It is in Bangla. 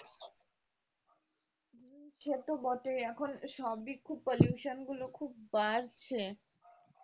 সে তো বটেই এখন সবই খুব pollution গুলো খুব বাড়ছে